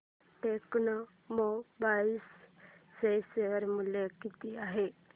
आज टेक्स्मोपाइप्स चे शेअर मूल्य किती आहे